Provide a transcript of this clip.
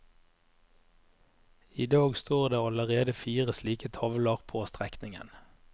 I dag står det allerede fire slike tavler på strekningen.